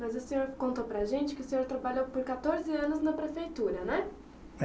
Mas o senhor contou para a gente que o senhor trabalhou por quatorze anos na prefeitura, né? É